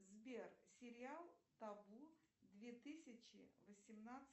сбер сериал табу две тысячи